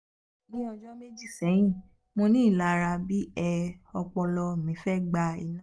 ni ọjọ meji sẹhin monilara bi e ọpọlọ mi fe gba ina um